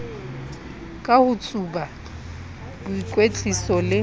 ka ho tsuba boikwetliso le